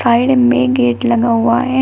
Side में gate लगा हुआ है।